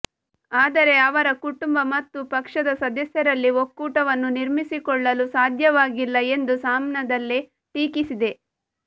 ಆದರೆ ಅವರ ಕುಟುಂಬ ಮತ್ತು ಪಕ್ಷದ ಸದಸ್ಯರಲ್ಲಿ ಒಕ್ಕೂಟವನ್ನು ನಿರ್ಮಿಸಿಕೊಳ್ಳಲು ಸಾಧ್ಯವಾಗಿಲ್ಲ ಎಂದು ಸಾಮ್ನಾದಲ್ಲಿ ಟೀಕಿಸಿದೆ